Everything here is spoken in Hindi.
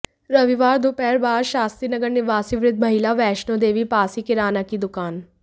रविवार दोपहर बाद शास्त्री नगर निवासी वृद्ध महिला वैष्णो देवी पास ही किराना की दुकान